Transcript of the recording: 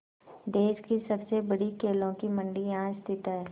देश की सबसे बड़ी केलों की मंडी यहाँ स्थित है